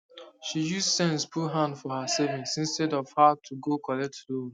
she use sense put hand for her savings instead of her to go collect loan